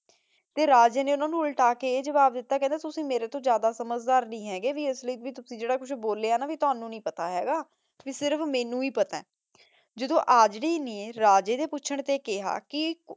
ਤੇ ਰਾਜੇ ਨੇ ਓਨਾਂ ਨੂ ਉਲਟਾ ਕੇ ਆਯ ਜਵਾਬ ਦਿਤਾ ਕਹੰਦਾ ਤੁਸੀਂ ਮੇਰੇ ਤੋਂ ਜਿਆਦਾ ਸਮਝਦਾਰ ਨਹੀ ਹੇਗੇ ਵੀ ਆਸ ਲੈ ਜੇਰਾ ਤੁਸੀਂ ਬੋਲੇ ਆਯ ਨਾ ਭਾਈ ਤੁਹਾਨੂ ਨਾਈ ਪਤਾ ਹੇਗਾ ਕੀ ਸਿਰਫ ਮੇਨੂ ਹੀ ਪਤਾ ਆਯ ਜਦੋਂ ਆਜ੍ਰੀ ਨੇ ਰਾਜੇ ਦੇ ਪੋਚਨ ਤੇ ਕੇਹਾ ਕੇ